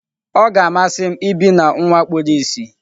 Ọ ga-amasị m ibi na nwa kpuru ìsì.